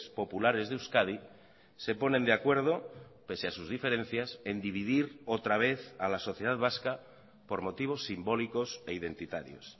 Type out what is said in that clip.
populares de euskadi se ponen de acuerdo pese a sus diferencias en dividir otra vez a la sociedad vasca por motivos simbólicos e identitarios